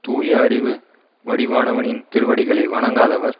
தூய அறிவு வடிவானவனின் திருவடிகளை வணங்காதவர்